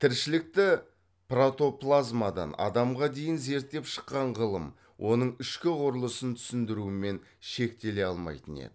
тіршілікті протоплазмадан адамға дейін зерттеп шыққан ғылым оның ішкі құрылысын түсіндірумен шектеле алмайтын еді